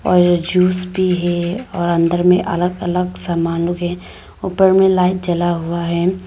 और ये जूस भी है और अन्दर में अलग अलग सामानों है ऊपर में लाइट जला हुआ है।